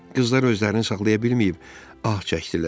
Qızlar özlərini saxlaya bilməyib ah çəkdilər.